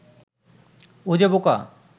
ও যে বোকা